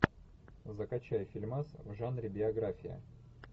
закачай фильмас в жанре биография